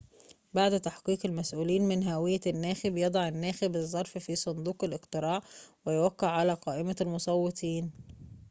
بعد تحقق المسؤولين من هوية الناخب يضع الناخب الظرف في صندوق الاقتراع ويوقع على قائمة المصوتين